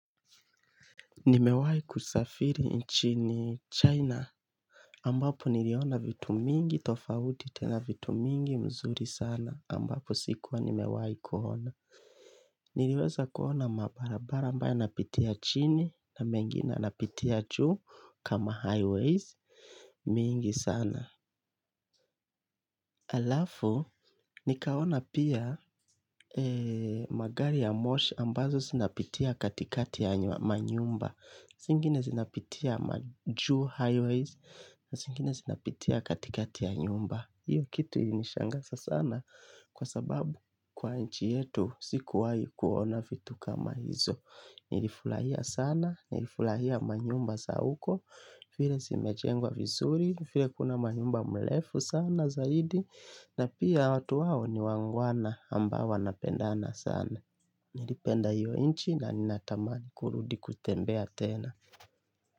Nimewahi kusafiri nchini China Ambapo niliona vitu mingi tofauti tena vitu mingi mzuri sana ambapo sikuwa nimewai kuona. Niliweza kuona mabarabara ambayo yanapitia chini na mengine yanapitia juu kama highways mingi sana. Halafu nikaona pia magari ya moshi ambazo zinapitia katikati ya manyumba zingine zinapitia majuu highways. Na zingine zinapitia katikati ya nyumba. Hiyo kitu ilinishangaza sana. Kwa sababu kwa nchi yetu sikuwahi kuona vitu kama hizo. Nilifurahia sana, nilifurahia manyumba za huko. Vile zimejengwa vizuri, vile kuna manyumba mrefu sana zaidi. Na pia watu wao ni wangwana ambao wanapendana sana. Nilipenda hiyo nchi na ninatamani kurudi kutembea tena.